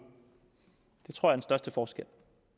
det tror jeg største forskel